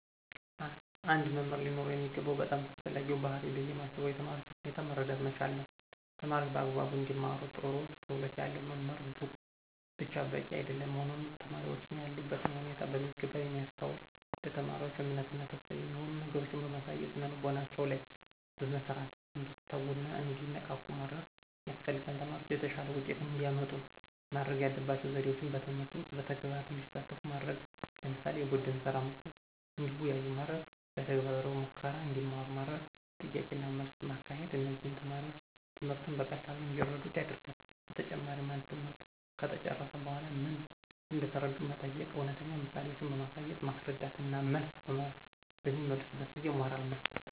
አንድ መምህር ሊኖረው የሚገባው በጣም አስፈላጊው ባህሪይ ብየ ማስበው የተማሪዎችን ሁኔታ መረዳት መቻል ነዉ። ተማሪዎች በአግባቡ እንዲማሩ ጥሩ ክህሎት ያለው መምህር ብቻ በቂ አይደለም ሆኖም ተማሪዎችን ያሉበትን ሁኔታ በሚገባ የሚያስተውል፣ ለተማሪዎች እምነት እና ተስፋ የሚሆኑ ነገሮችን በማሳየት ስነልቦናቸው ላይ በመስራት እንዲተጉና እንዲነቃቁ ማድረግ ያስፈልጋል። ተማሪዎች የተሻለ ውጤት እንዲያመጡ ማድረግ ያለባቸው ዘዴዎች በትምህርት ውስጥ በተግባር እንዲሳተፉ ማድረግ ለምሳሌ፦ የቡድንስራ መስጠት፣ እንዲወያዩ ማድረግ፣ በተግባራዊ ሙከራ እንዲማሩ ማድረግ፣ ጥያቄና መልስ ማካሄድ እነዚህም ተማሪዎች ትምህርትን በቀላሉ እንዲረዱት ያደርጋል። በተጨማሪም አንድ ትምህርት ከተጨረሰ በኃላ ምን እንደተረዱ መጠየቅ፣ እውነተኛ ምሳሌዎችን በማንሳት ማስረዳት እና መልስ በሚመልሱበት ጊዜ ሞራል መስጠት።